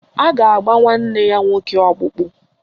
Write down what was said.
A ga-agba nwanne ya nwoke ọkpụkpụ.